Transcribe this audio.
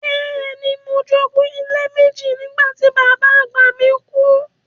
Bẹ́ẹ̀ni, mo jogún ilé méjì nígbà tí bàbá àgbà mi kú.